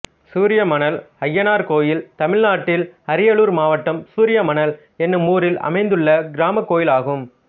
சூரியமணல் அய்யனார் கோயில் தமிழ்நாட்டில் அரியலூர் மாவட்டம் சூரியமணல் என்னும் ஊரில் அமைந்துள்ள கிராமக் கோயிலாகும்